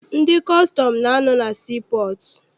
Ndị kọstọm na- anọ na sii pọọtụ.